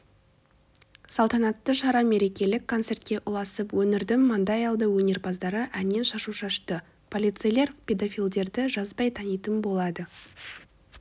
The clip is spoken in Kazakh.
салтанатты шара мерекелік концертке ұласып өңірдің маңдайалды өнерпаздары әннен шашу шашты полицейлер педофилдерді жазбай танитын болады